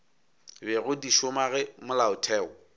bego di šoma ge molaotheo